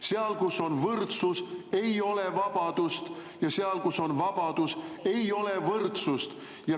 Seal, kus on võrdsus, ei ole vabadust, ja seal, kus on vabadus, ei ole võrdsust.